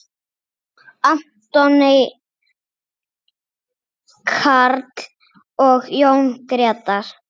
Anthony Karl og Jón Gretar.